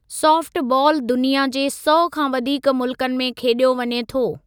Soft बालु दुनिया जे सौ खां वधीक मुल्कनि में खेॾियो वञे थो।